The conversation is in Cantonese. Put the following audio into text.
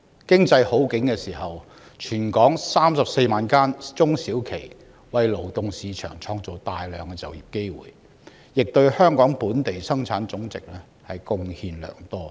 經濟好景時，全港34萬間中小企為勞動市場創造大量就業機會，亦對香港本地生產總值貢獻良多。